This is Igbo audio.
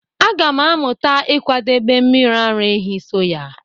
Aga m amụta ịkwadebe mmiri ara ehi soya